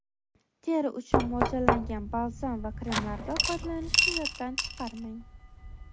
Teri uchun mo‘ljallangan balzam va kremlardan foydalanishni yoddan chiqarmang.